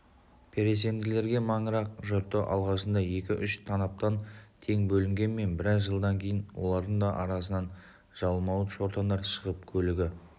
переселендерге маңырақ жұрты алғашында екі-үш танаптан тең бөлінгенмен біраз жылдан кейін олардың да арасынан жалмауыт шортандар шығып көлігі